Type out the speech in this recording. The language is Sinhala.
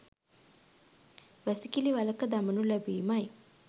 වැසිකිළි වළක දමනු ලැබීමයි.